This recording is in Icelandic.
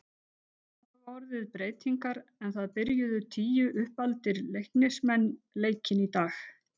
Það hafa orðið breytingar en það byrjuðu tíu uppaldir Leiknismenn leikinn í dag.